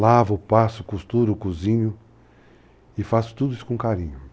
Lavo, passo, costuro, cozinho e faço tudo isso com carinho.